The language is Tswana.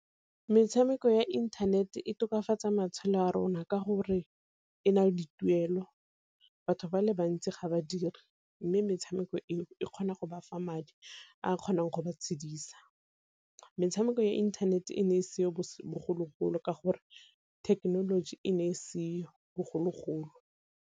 Metshameko ya internet e tokafatsa matshelo a rona ka gore e nale dituelo, batho ba le bantsi ga ba dire mme metshameko eo e kgona go ba fa fa madi, a kgonang go ba tshedisa. Metshameko ya internet e ne e seo bogologolo ka gore thekenoloji e ne e seo bogologolo.